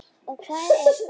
Og hvað er það?